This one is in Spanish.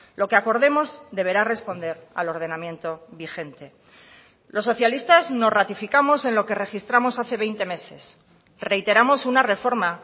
lo que acordemos deberá responder al ordenamiento vigente los socialistas nos ratificamos en lo que registramos hace veinte meses reiteramos una reforma